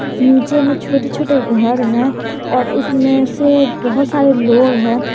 नीचे में छोटे छोटे घर है और उसमें से बहुत सारे लोग हैं।